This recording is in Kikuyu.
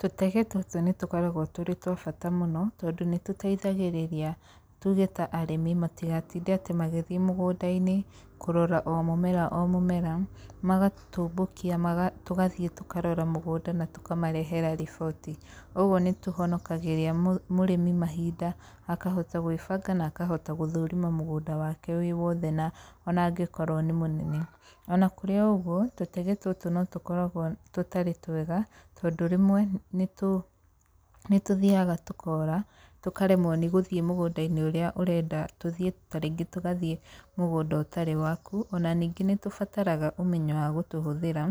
Tũtege tũtũ nĩ tũkoragwo tũrĩ twa bata mũno, tondũ nĩ tũteithagĩrĩria tuge ta arĩmi matigatinde atĩ magĩthiĩ mũgũnda-inĩ kũrora o mũmera o mũmera, magatũmbũkia tũgathiĩ tũkarora mũgũnda na tũkamarehera riboti. Ũguo nĩ tũhonokagĩria mũrĩmi mahinda akahota gwĩbanga na akahota gũthũrima mũgũnda wake wĩ wothe na ona angĩkorwo nĩ mũnene. Ona kũrĩ o ũguo, tũtege tũtũ no tũkoragwo tũtarĩ twega tondũ rĩmwe nĩ tũ, nĩ tũthiaga tũkora tũkaremwo nĩ gũthiĩ mũgũnda-inĩ ũrĩa ũrenda tũthiĩ ta rĩngĩ tũgathiĩ mũgũnda ũtarĩ waku, ona ningĩ nĩ tũbataraga ũmenyo wa gũtũhũthĩra,